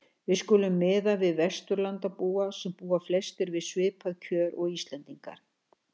Við skulum miða við Vesturlandabúa, sem búa flestir við svipuð kjör og Íslendingar.